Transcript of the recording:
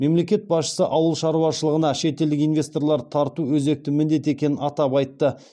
мемлекет басшысы ауыл шаруашылығыныа шетелдік инвесторларды тарту өзекті міндет екенін атап айтты